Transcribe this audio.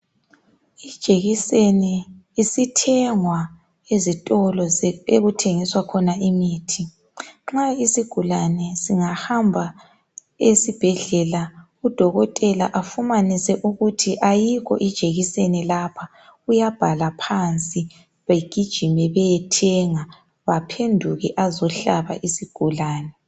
Ijekiseni isithengwa ezitolo okuthengiswa khona imithi. Nxa isigulane singahamba esibhedlela udokotela afumanise ukuthi ayikho ijekiseni lapha uyabhala phansi bagijime bayeyithenga baphenduke azohlaba isigulane.